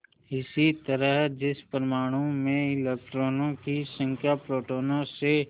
इसी तरह जिस परमाणु में इलेक्ट्रॉनों की संख्या प्रोटोनों से